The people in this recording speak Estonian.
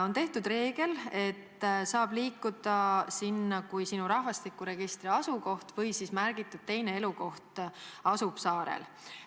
On kehtestatud reegel, et sinna võib liikuda, kui rahvastikuregistri järgi sinu põhiline või siis märgitud nn teine elukoht asub saarel.